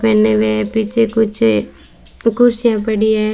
पहने हुए है पीछे कुछ कुर्सियां पड़ी हैं।